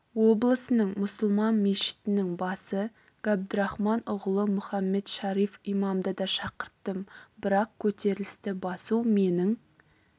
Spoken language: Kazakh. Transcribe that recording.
облысының мұсылман мешітінің басы габдырахман ұғлы мұхаммед шариф имамды да шақырттым бірақ көтерілісті басу менің